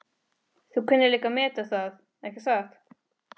Þú kunnir líka að meta það, ekki satt?